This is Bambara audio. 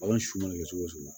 Bagan su mana kɛ cogo cogo